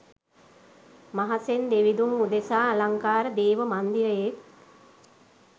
මහසෙන් දෙවිඳුන් උදෙසා අලංකාර දේව මන්දිරයෙක්